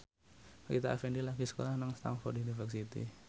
Rita Effendy lagi sekolah nang Stamford University